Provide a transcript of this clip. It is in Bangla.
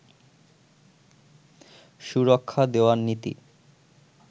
সুরক্ষা দেওয়ার নীতি